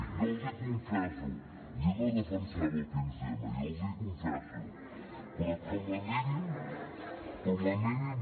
jo els hi confesso jo no defensava el quinze m jo els hi confesso però com a mínim